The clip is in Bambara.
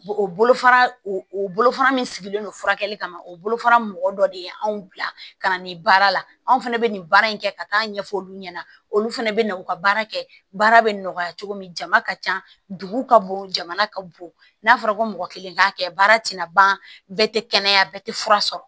O bolofara o bolofara min sigilen don furakɛli kama o bolofara mɔgɔ dɔ de ye anw bila ka na nin baara la anw fɛnɛ bɛ nin baara in kɛ ka taa ɲɛfɔ olu ɲɛna olu fana bɛ na u ka baara kɛ baara bɛ nɔgɔya cogo min jama ka ca dugu ka bon jamana ka bon n'a fɔra ko mɔgɔ kelen k'a kɛ baara tɛna ban bɛɛ tɛ kɛnɛya bɛɛ tɛ fura sɔrɔ